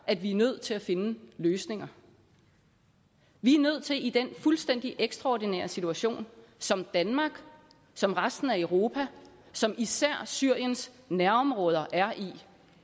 at vi er nødt til at finde løsninger vi er nødt til i den fuldstændig ekstraordinære situation som danmark som resten af europa og som især syriens nærområder